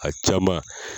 A caman